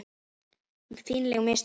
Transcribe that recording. Fínleg mistök.